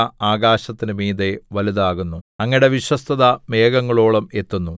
അങ്ങയുടെ ദയ ആകാശത്തിന് മീതെ വലുതാകുന്നു അങ്ങയുടെ വിശ്വസ്തത മേഘങ്ങളോളം എത്തുന്നു